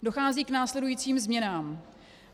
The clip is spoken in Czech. Dochází k následujícím změnám.